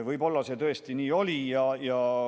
Võib-olla see tõesti nii oli.